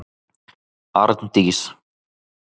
Arndís